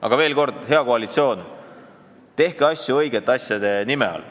Aga veel kord: hea koalitsioon, tehke asju õigete nimede all.